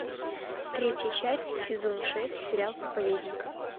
третья часть сезон шесть сериал проповедник